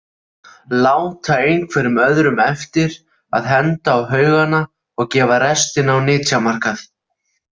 Láta einhverjum öðrum eftir að henda á haugana og gefa restina á nytjamarkað.